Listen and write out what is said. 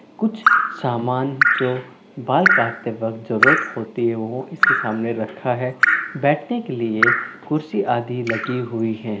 कुछ सामान जो बाल काटते वक्त जरूरत होती है वो इसके सामने रखा है बैट्रिक लिए कुर्सी आदि लगी हुई हैं।